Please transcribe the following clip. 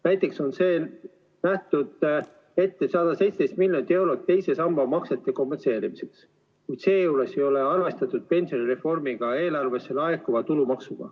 Näiteks on nähtud ette 117 miljonit eurot teise samba maksete kompenseerimiseks, kuid seejuures ei ole arvestatud pensionireformiga seoses eelarvesse laekuvat tulumaksu.